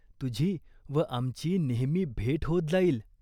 तुझी व आमची नेहमी भेट होत जाईल.